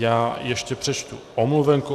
Já ještě přečtu omluvenku.